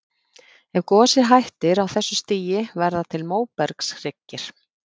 Ef gosið hættir á þessu stigi verða til móbergshryggir.